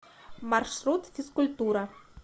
маршрут физкультура